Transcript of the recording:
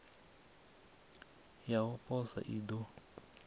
ya u posa i ḓo